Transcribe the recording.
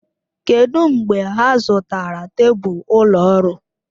Kedụ mgbe ha zụtara tebụl ụlọ ọrụ?